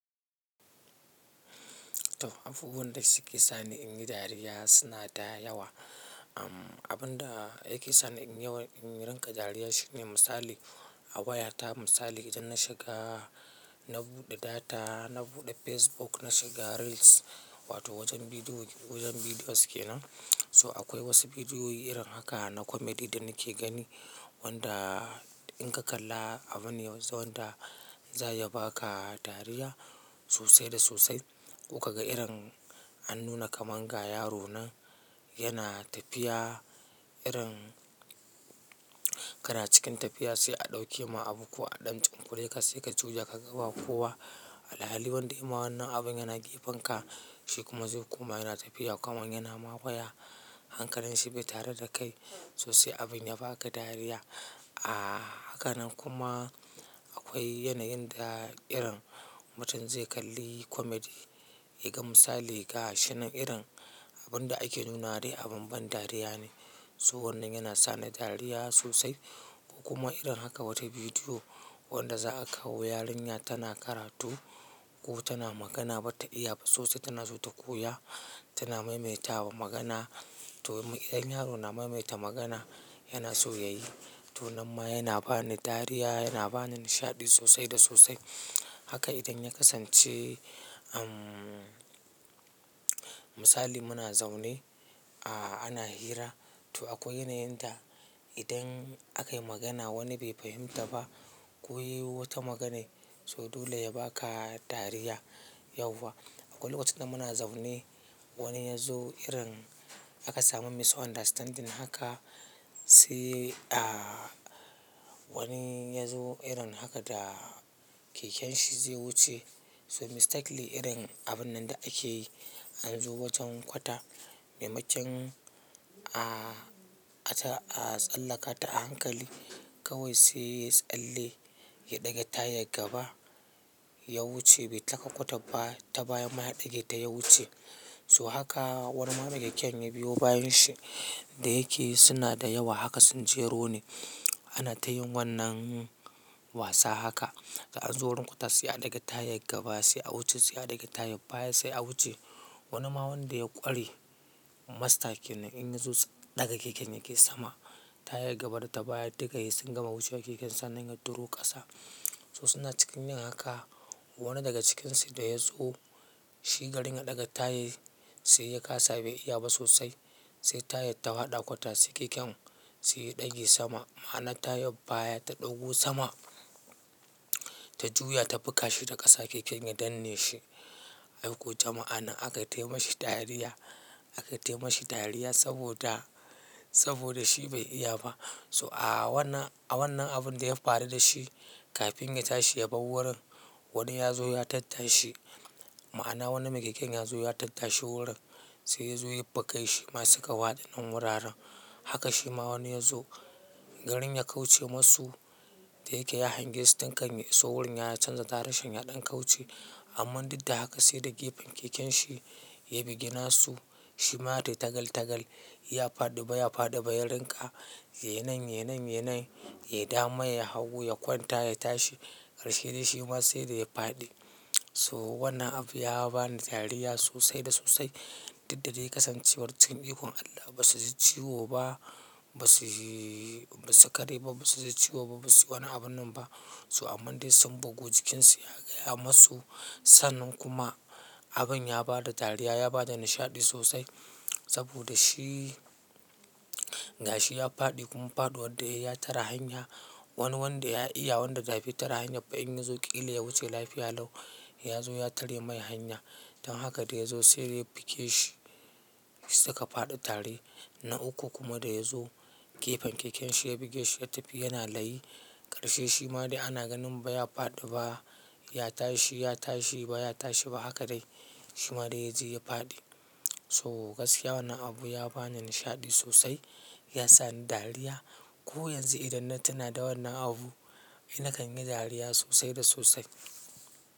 To abubuwan da suke sani in yi dariya suna da yawa. Amm abun da yake sani in yawa in rinka dariya shine misali a wayata misali idan na shiga na buɗe data, na buɗe Facebook, na shiga reels wato wajen bidiyo wajen bidiyos ke nan. To akwai wasu bidiyoyi irin haka na comedy da nake gani wanda in ka kalla abu ne yanzu wanda za ya baka dariya sosai da sosai. Amm abun da yake sani in yawa in rinka dariya shine misali a wayata misali idan na shiga na buɗe data, na buɗe Facebook, na shiga reels wato wajen bidiyo wajen bidiyos ke nan. Alhali wanda ya ma wannan abin yana gefen ka, shi kuma zai kuma yana tafiya kamar yana ma waya hankalinshi bai tare da kai sosai abin ya baka dariya. A haka nan kuma akwai yanayin da irin mutum zai kalli comedy, ya ga misali ga shinan irin abun da ake nuna dai abun ban dariya ne. So wannan yana sani dariya sosai. Kuma irin haka wata bidiyo wanda za a kawo yarinya tana karatu ko tana magana bata iya ba sosai tana so ta koya tana maimaita wa magana. To idan yaro na maimaita magana yana so ya yi, to nan ma yana bani dariya, yana bani nishaɗi sosai da sosai. Haka idan ya kasance amm misali muna zaune a ana hira, to akwai yanayin da idan aka yi magana wani bai fahimta ba, ko yi wata maganai so dole ya baka dariya yauwa. Akwai lokacin da muna zaune wani ya zo irin aka samu misunderstanding haka sai a wani ya zo irin haka da keken shi zai wuce. So mistakenly irin abun nan da ake yi an zo wajen kwata maimakin a asa a tsallaka ta a hankali. Kawai sai tsalle ya ɗaga tayi ya yi gaba ya wuce bai taka kwata ba ta baya ma ya ɗage ta ya wuce. So haka wani mara keken ya biyo bayan shi da yake suna da yawa haka sun jero ne ana ta yin wannan wasa haka. An zo wurin kwata sai a ɗaga taya gaba sai a wuce sai a ɗaga taya baya sai a wuce. Wani ma wanda ya ƙwari Master kenan in ya zo ɗaga keken yake sama ta ya gaba data baya duka he sun gama wucewa keken sa nan ya duro ƙasa. So suna cikin yin haka wani daga cikinsu da ya zo shi garin ya ɗaga taya sai ya kasa bai iya ba sosai sai tayar ta hwaɗa kwata sai keken sai ya ɗage sama ma'ana taya baya ta ɗogu sama ta juya ta fiƙa shi da ƙasa keken ya danne shi. Ai ko jama'a nan akai taimashi dariya akaitaimashi dariya saboda saboda shi bai iya ba. So a wannan a wannan abun da ya faru da shi kafin ya tashi ya bar wurin wani ya zo ya tattashi. Ma'ana wani mai keken ya zo ya tattashi wurin sai ya zo ya fiƙa shi masu suka hwaɗi nan wuraren. Haka shi ma wani ya zo garin ya kauce masu da yake ya hangi su tinkan ya iso wurin ya canza direction ya ɗan kauce. Amman duk da haka sai da gefen keken shi ya bigi na su shi ma dai tagal tagal ya faɗi ba ya faɗi ba ya rinƙa "ye nan, ye nan, ye nan" yayi dama yayi hagu ya kwanta ya tashi karshe dai shi ma sai dai ya faɗi. So wannan abu ya bani dariya sosai da sosai. Duk da dai kasancewar cin ikon Allah ba su ji ciwo ba ba su ba su kare ba ba su ji ciwo ba ba su yi wannan abun nan ba. So amman dai sun bugu jikinsu ya gaya masu sannan kuma abin ya bada dariya ya bada nishaɗi sosai saboda shi gashi ya faɗi kuma faɗuwa da yayi ya tara hanya. Wani wanda ya iya wanda da bai tare hanya bai in yi zo ƙila ya wuce lafiya lau ya zo ya tare mai hanya. Don haka da ya zo sai dai ya fiƙe shi suka faɗi tare na uku kuma da ya zo gefen keken shi ya bugi shi ya tafi yana layi. Karshe shi ma dai ana ganin ba ya faɗi ba ya tashi ya tashi ba ya tashi ba haka dai shi ma dai ya je ya faɗi. To gaskiya wannan abu ya bani nishaɗi sosai ya sani dariya. Ko yanzu idan na tuna da wannan abu ni na kan yi dariya sosai da sosai.